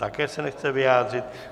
Také se nechce vyjádřit.